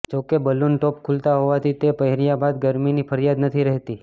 જોકે balloon top ખુલતાં હોવાથી તે પહેર્યાં બાદ ગરમીની ફરિયાદ નથી રહેતી